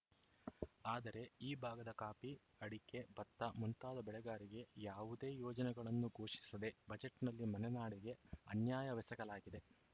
ಆದರೆ ಈ ಭಾಗದ ಕಾಫಿ ಅಡಕೆ ಭತ್ತ ಮುಂತಾದ ಬೆಳೆಗಾರರಿಗೆ ಯಾವುದೇ ಯೋಜನೆಗಳನ್ನು ಘೋಷಿಸದೇ ಬಜೆಟ್‌ನಲ್ಲಿ ಮಲೆನಾಡಿಗೆ ಅನ್ಯಾಯವೆಸಗಲಾಗಿದೆ